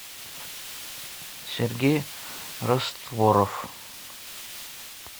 сергей растворов